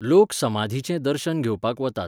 लोक समाधीचें दर्शन घेवपाक वतात.